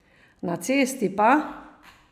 Na cesti pa?